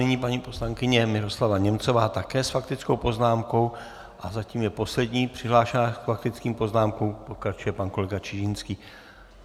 Nyní paní poslankyně Miroslava Němcová také s faktickou poznámkou a zatím je poslední přihlášená k faktickým poznámkám, pokračuje pan kolega Čižinský.